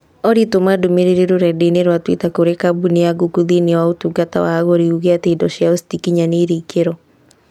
Olly tũma ndũmĩrĩri rũrenda-inī rũa tũita kũrĩ kambuni ya Google thĩinĩ wa ũtungata wa agũri uuge atĩ indo ciao ĩtĩkinyanĩire ikĩro.